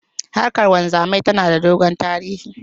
Harkan wanzamai tana da dogon tarihi.